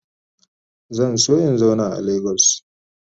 Zan so in zauna a lagos.